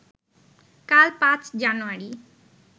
কাল ৫ জানুয়ারি